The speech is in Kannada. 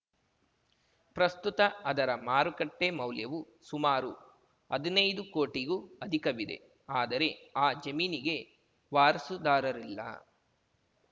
ಪ್ರಸುತ್ತ ಅದರ ಮಾರುಕಟ್ಟೆಮೌಲ್ಯವು ಸುಮಾರು ಹದಿನೈದು ಕೋಟಿಗೂ ಅಧಿಕವಿದೆ ಆದರೆ ಆ ಜಮೀನಿಗೆ ವಾರಸುದಾರರಿಲ್ಲ